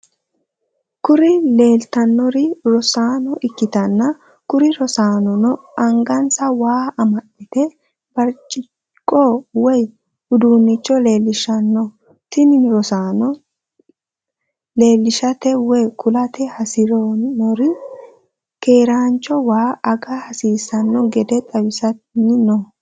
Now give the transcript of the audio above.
kuri lelitanori rosano ikitana kuri rosanono angasa waa amadino birichiqqo woy udunicho lelishano. Tini rosanono lelishate woy kulate hasidhnori keranicho waa aga hasisano gede xawisani no.